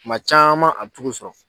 Kuma caman a bɛ tu k'u sɔrɔ.